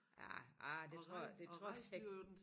Ah ah det tror det tror jeg altså ikke